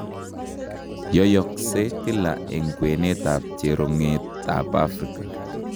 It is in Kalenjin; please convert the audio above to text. Yoiyoksee kila eng kweenet ak cheronget ab Africa